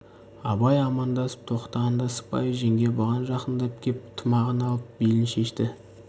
абай амандасып тоқтағанда сыпайы жеңге бұған жақындап кеп тымағын алып белін шешті